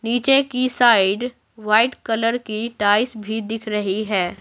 नीचे की side white colour की टाइल्स भी दिख रही है।